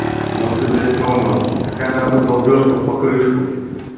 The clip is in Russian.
ну ты блять рома какая нахуй долбёжка в покрышку